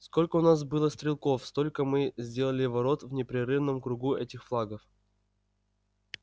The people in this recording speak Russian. сколько у нас было стрелков столько мы сделали ворот в непрерывном кругу этих флагов